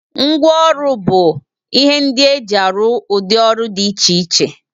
Ngwa ọrụ bụ ihe ndị e ji arụ ụdị ọrụ dị iche iche